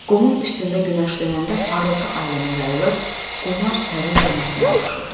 Qumun üstündə günəşlənəndə parıltı ailəmə yayılır, qumlar sərin cənnətlə qovuşurdu.